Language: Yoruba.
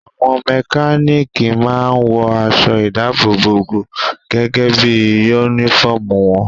Àwọn mẹkánìkì máa n wọ aṣọ ìdábòbò gẹ́gẹ́ bí yúnífọ̀mù wọn